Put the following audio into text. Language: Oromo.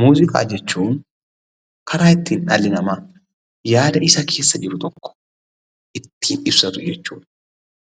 Muuziqaa jechuun karaa ittiin dhalli namaa yaada isa keessa jiru tokko ittiin ibsatu jechuudha.